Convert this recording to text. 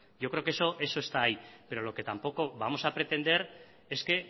yo creo que eso eso está ahí pero lo que tampoco vamos a pretender es que